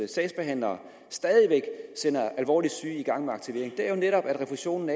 sagsbehandlere stadig væk sætter alvorligt syge i gang med aktivering er netop at refusionen